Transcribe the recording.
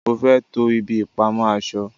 mo fé to ibi ìpamọ́ aṣọ